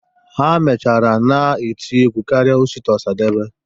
Ha mechara na-eti egwu karịa Osita Ọsadebe.